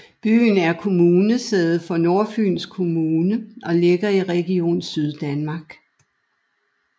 Byen er kommunesæde for Nordfyns Kommune og ligger i Region Syddanmark